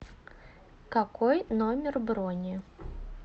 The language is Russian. какой номер брони